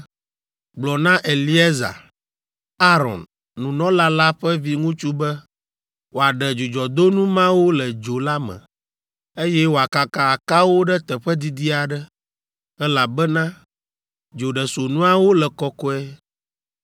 “Gblɔ na Eleazar, Aron, nunɔla la ƒe viŋutsu be wòaɖe dzudzɔdonu mawo le dzo la me, eye wòakaka akawo ɖe teƒe didi aɖe, elabena dzoɖesonuawo le kɔkɔe